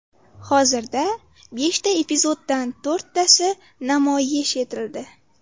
Hozirda beshta epizoddan to‘rttasi namoyish etildi.